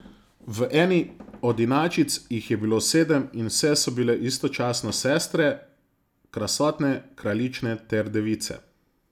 V eni od inačic jih je bilo sedem in vse so bile istočasno sestre, krasotne kraljične ter device.